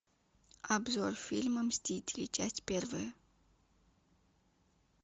обзор фильма мстители часть первая